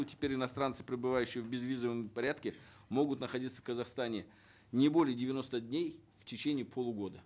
теперь иностранцы прибывающие в безвизовом порядке могут находиться в казахстане не более девяноста дней в течение полугода